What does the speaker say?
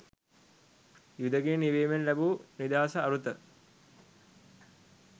යුද ගිනි නිවීමෙන් ලැබූ නිදහසෙහි අරුත